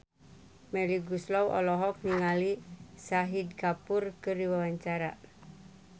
Melly Goeslaw olohok ningali Shahid Kapoor keur diwawancara